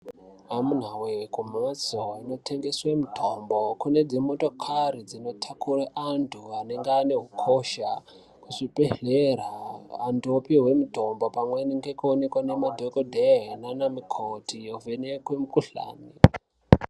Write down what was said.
Amunawe kumhatso dzinotengeswa mitombo kune dzimotokari dzinotakura antu anenge ane hosha kuzvibhehlera antu apiwa mitombo pamweni nekuonekwa ngemadhokoteya namana mukoti ovhenekwa mikhuhlani.